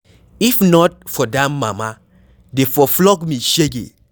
If not for dat Mama dey for flog me shege